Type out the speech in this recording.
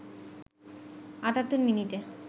৭৮ মিনিটে